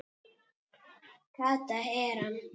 Kata er hann!